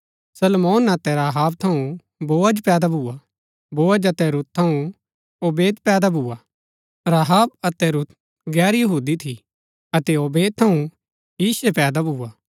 सलमोन अतै राहब थऊँ बोअज पैदा भुआ बोअज अतै रूत थऊँ ओबेद पैदा भुआ राहब अतै रूत गैर यहूदी थी अतै ओबेद थऊँ यीशे पैदा भुआ